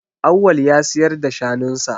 Awwal ya siyar da shanun sa.